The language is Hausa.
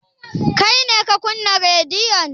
Kai ne ka kunna rediyon?